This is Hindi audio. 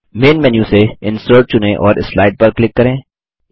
मैन मेन्यू से इंसर्ट चुनें और स्लाइड पर क्लिक करें